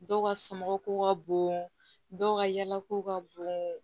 Dɔw ka sɔmɔgɔw ko ka bon dɔw ka yalako ka bon